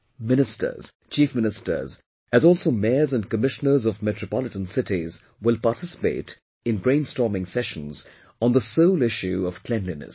Ministers, Chief Ministers as also Mayors and Commissioners of metropolitan cities will participate in brainstorming sessions on the sole issue of cleanliness